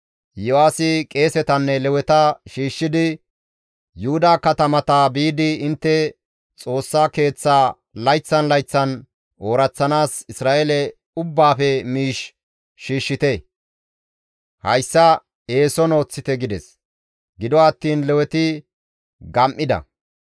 Iyo7aasi qeesetanne Leweta shiishshidi, «Yuhuda katamata biidi intte Xoossa Keeththaa layththan layththan ooraththanaas Isra7eele ubbaafe miish shiishshite; hayssa eeson ooththite» gides. Gido attiin Leweti gam7ida.